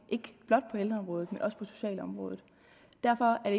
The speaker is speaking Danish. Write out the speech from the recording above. på ældreområdet men også på socialområdet derfor er